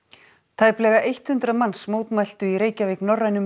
tæplega hundrað manns mótmæltu í Reykjavík norrænum